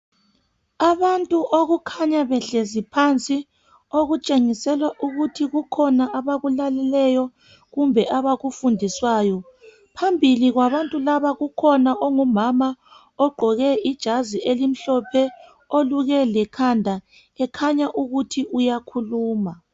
Abantu okukhanya behlezi phansi okutshengisela ukuthi kukhona abakulaleleyo kumbe abakufundiswayo. Phambili kwabantu laba kukhona ongumama ogqoke ijazi elimhlophe oluke lekhanda ekhanya ukuthi uyakhuluma.